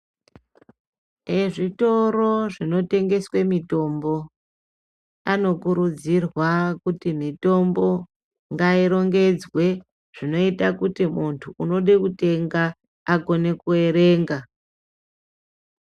Ezvitoro zvinotengeswa mitombo anokurudzirwa kuti mitombo ngairongwdzwe zvinoita kuti muntu unode kutenga akone kuerenga.